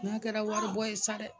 N k'a kɛra waribɔ ye sa dɛ.